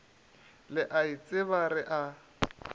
le a itseba re a